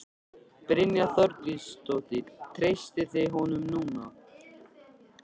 Brynja Þorgeirsdóttir: Treystið þið honum núna?